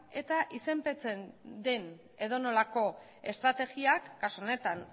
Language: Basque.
eta izenpetzen den edonolako estrategiak kasu honetan